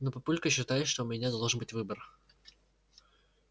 но папулька считает что у меня должен быть выбор